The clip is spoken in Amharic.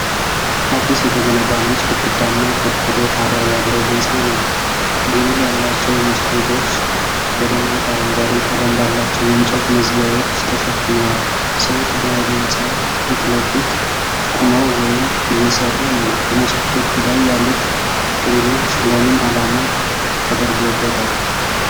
አዲስ የተገነባ ነጭ ግድግዳና ቆርቆሮ ጣሪያ ያለው ሕንፃ ነው። ግሪል ያላቸው መስኮቶች በደማቅ አረንጓዴ ቀለም ባላቸው የእንጨት መዝጊያዎች ተሸፍነዋል። ሰዎች በህንፃው ፊት ለፊት ቆመው ወይም እየሰሩ ነው። በመስኮቶቹ ላይ ያሉት ግሪሎች ለምን ዓላማ ተደርገውበታል?